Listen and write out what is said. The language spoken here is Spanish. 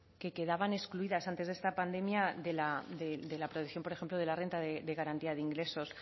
que quedaban excluidas antes de esta pandemia de la percepción por ejemplo de la renta de garantía de ingresos